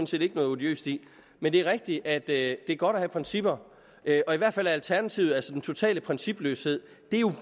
set ikke noget odiøst i men det er rigtigt at det er godt at have principper og i hvert fald er alternativet altså den totale principløshed